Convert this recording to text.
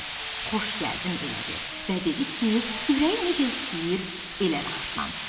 Xoş gəldin elədi və dedi ki, ürəyi necə istəyir elə rahatlansın.